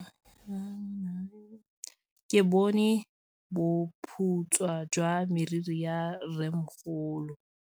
Ke bone boputswa jwa meriri ya rrêmogolo.